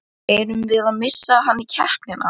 Erum við að missa hann í keppnina?